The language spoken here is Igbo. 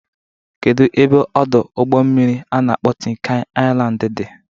Kedu ebe Ọdụ ụgbọ mmiri a na-akpọ Tin kan Ailand dị?